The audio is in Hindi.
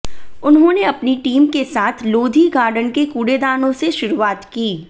उन्होंने अपनी टीम के साथ लोधी गार्डन के कूड़ेदानों से शुरुआत की